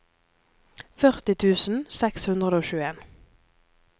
førti tusen seks hundre og tjueen